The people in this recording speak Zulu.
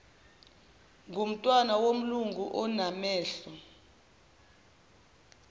ngumntwana womlungu onamehlo